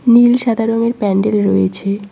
নীল সাদা রঙের প্যান্ডেল রয়েছে।